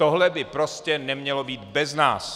Tohle by prostě nemělo být bez nás.